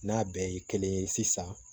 N'a bɛɛ ye kelen ye sisan